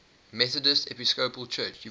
methodist episcopal church